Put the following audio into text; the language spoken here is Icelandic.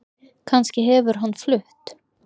Kannski hefur hann flutt